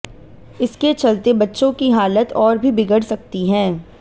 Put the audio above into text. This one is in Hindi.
इसके चलते बच्चों की हालत और भी बिगड़ सकती है